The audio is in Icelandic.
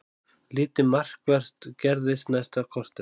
Lítið markvert gerðist næsta korterið.